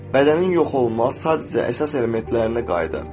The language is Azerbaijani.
Bədən yox olmur, sadəcə əsas elementlərinə qayıdar.